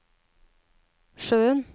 sjøen